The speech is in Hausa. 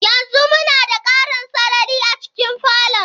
Yanzu muna da ƙarin sarari a cikin falon.